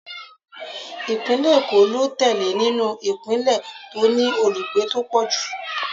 Ìpínlẹ̀ Èkó ló tẹ̀lé nínú ìpínlẹ̀ tó ní olùgbé tó pọ̀ jù.